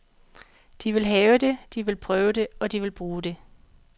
De vil have det, de vil prøve det, og de vil bruge det.